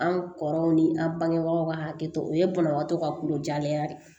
An kɔrɔw ni an bangebagaw ka hakɛ to o ye banabagatɔ ka kulo jalenya de ye